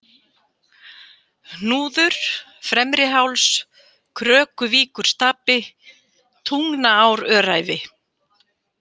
Hnúður, Fremriháls, Krökuvíkurstapi, Tungnaáröræfi